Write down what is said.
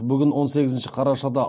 бүгін он сегізінші қарашада